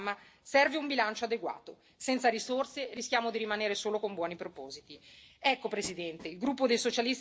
E soprattutto, per realizzare questo programma, serve un bilancio adeguato senza risorse rischiamo di rimanere solo con buoni propositi.